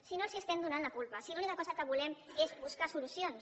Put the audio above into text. si no els estem donant la culpa si l’única cosa que volem és buscar solucions